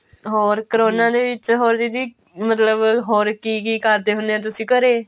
ਹੋਰ ਕਰੋਨਾ ਦੇ ਵਿੱਚ ਹੋਰ ਦੀਦੀ ਮਤਲਬ ਹੋਰ ਕੀ ਕੀ ਕਰਦੇ ਹੁੰਨੇ ਓ ਤੁਸੀਂ ਘਰੇ